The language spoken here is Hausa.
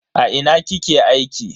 A ina kike aiki?